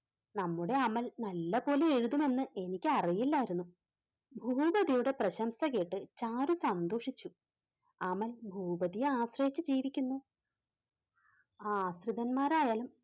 നമ്മുടെ അമൽ നല്ലപോലെ എഴുതുമെന്ന് എനിക്കറിയില്ലായിരുന്നു. ഭൂപതിയുടെ പ്രശംസ കേട്ട് ചാരു സന്തോഷിച്ചു. അമൽ ഭൂപതിയെ ആശ്രയിച്ച് ജീവിക്കുന്നു. ആശ്രിതന്മാരായാലും